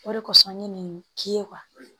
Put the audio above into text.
O de kosɔn n ye nin k'i ye